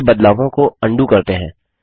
चलिए बदलावों को अन्डू करते हैं